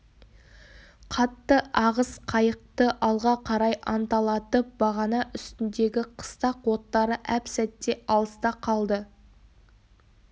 қатты ағыс қайықты алға қарай анталатып бағана үстіндегі қыстақ оттары әп-сәтте алыста қалды